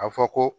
A fɔ ko